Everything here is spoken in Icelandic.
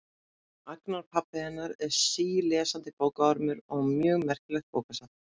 Agnar pabbi hennar er sílesandi bókaormur og á mjög merkilegt bókasafn.